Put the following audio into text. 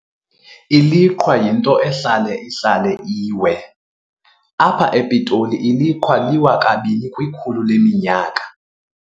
Iliqhwa yinto ehlala ihlale iwe. apha ePitoli iliqhwa liwa kabini kwikhulu leminyaka.